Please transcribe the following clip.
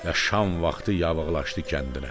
Ya şam vaxtı yavıqlaşdı kəndinə.